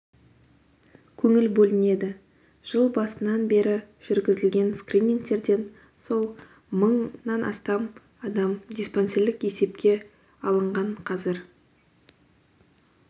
көңіл бөлінеді жыл басынан бері жүргізілген скринингтерден соң мыңнан астам адам диспансерлік есепке алынған қазір